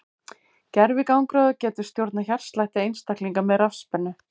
Gervigangráður getur stjórnað hjartslætti einstaklinga með rafspennu.